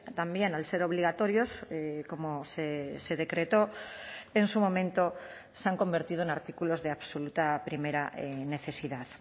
también al ser obligatorios como se decretó en su momento se han convertido en artículos de absoluta primera necesidad